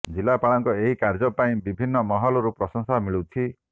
ଜିଲ୍ଲାପାଳଙ୍କ ଏହି କାର୍ଯ୍ୟ ପାଇଁ ବିଭିନ୍ନ ମହଲରୁ ପ୍ରଶଂସା ମିଳୁଛି